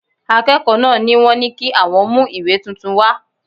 Akẹ́kọ̀ọ́ náà ni wọ́n ní kí àwọn mú ìwé tuntun wá